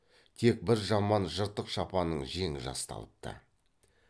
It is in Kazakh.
тек бір жаман жыртық шапанның жеңі жасталыпты